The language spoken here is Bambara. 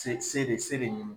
se se de se de ɲini